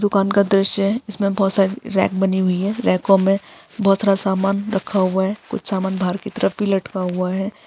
दुकान का दृश्य है इसमे बहुत सारी रैक बनी हुई है। रैको में बहुत सारा सामान रखा हुआ हैं। कुछ सामान बाहर की तरफ भी लटका हुआ है।